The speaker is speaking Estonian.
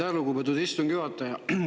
Aitäh, lugupeetud istungi juhataja!